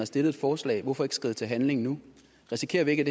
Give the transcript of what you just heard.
stillet et forslag hvorfor ikke skride til handling nu risikerer vi ikke